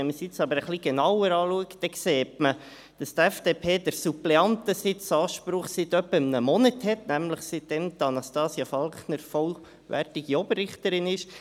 Wenn man es aber ein bisschen genauer betrachtet, sieht man, dass die FDP den Suppleantensitz-Anspruch seit etwa einem Monat hat – nämlich, seit Anastasia Falkner vollwertige Oberrichterin ist.